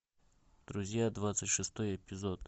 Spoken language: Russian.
друзья двадцать шестой эпизод